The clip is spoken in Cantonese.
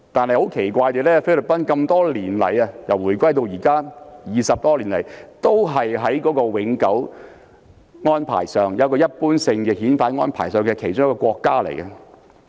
然而，奇怪的是由回歸至今20多年來，菲律賓一直是與香港設有一般性遣返安排的其中一個國家。